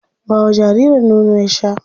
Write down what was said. Ba wa jaririn nono ya sha.